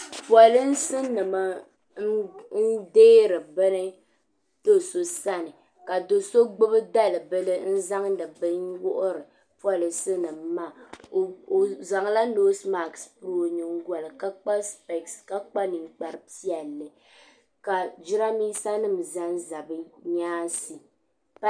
Polece nim neeri bini dosɔ sani ka dosɔ gbubi dali bili ka zaŋdi bini n wuhiri polece nim maa ɔ zaŋla nɛse mat. n lɔ ɔnyiŋgoli ka kpa nin kpari piɛli ka jiranbisa nim ʒan ʒa bi nyaaŋsi.